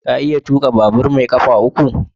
Ka iya tuka babur mai kafa uku?